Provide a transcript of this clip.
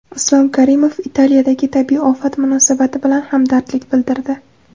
Islom Karimov Italiyadagi tabiiy ofat munosabati bilan hamdardlik bildirdi.